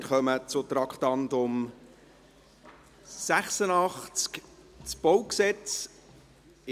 Wir kommen zum Traktandum 86, Baugesetz (BauG).